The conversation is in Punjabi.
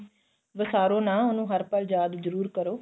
ਵਸਾਰੋ ਨਾ ਉਹਨੂੰ ਹਰ ਪਲ ਯਾਦ ਜਰੂਰ ਕਰੋ